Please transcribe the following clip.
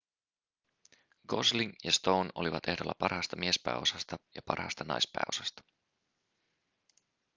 gosling ja stone olivat ehdolla parhaasta miespääosasta ja parhaasta naispääosasta